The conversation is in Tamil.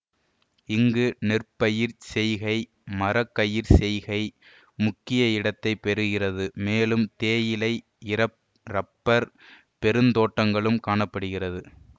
இங்கு நெற்பயிர்ச் செய்கை மர கறி செய்கை முக்கிய இடத்தை பெருகிறது மேலும் தேயிலை இறப் இறப்பர் பெருந்தோட்டங்களும் காண படுகிறது